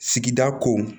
Sigida ko